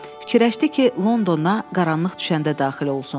Fikirləşdi ki, Londona qaranlıq düşəndə daxil olsun.